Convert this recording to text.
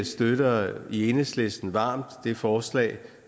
støtter i enhedslisten varmt det forslag